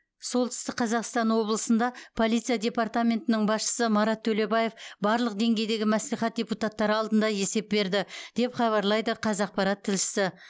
солтүстік қазақстан облысында полиция департаментінің басшысы марат төлебаев барлық деңгейдегі мәслихат депутаттары алдында есеп берді деп хабарлайды қазақпарат тілшісі